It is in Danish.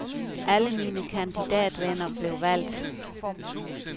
Alle mine kandidatvenner blev valgt.